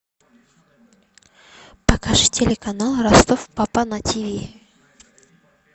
покажи телеканал ростов папа на тв